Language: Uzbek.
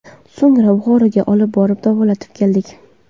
So‘ngra Buxoroga olib borib davolatib keldik.